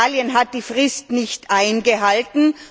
Italien hat die Frist nicht eingehalten.